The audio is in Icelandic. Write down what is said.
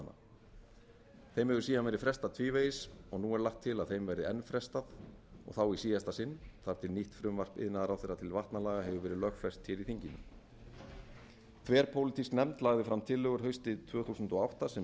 laganna þeim hefur síðan verið frestað tvívegis og nú er lagt til að þeim verði enn frestað og þá í síðasta sinn þar til nýtt frumvarp iðnaðarráðherra til vatnalaga hefur verið lögfest hér í þinginu þverpólitísk nefnd lagði fram tillögur haustið tvö þúsund og átta sem